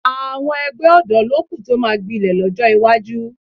Àwọn ẹgbẹ́ ọ̀dọ́ ló kù tó máa gbilẹ̀ lọ́jọ́ iwájú